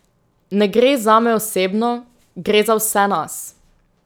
Ne gre zame osebno, gre za vse nas.